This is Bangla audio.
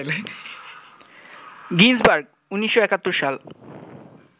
গিন্সবার্গ ১৯৭১ সাল